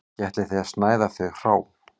Ekki ætlið þér að snæða þau hrá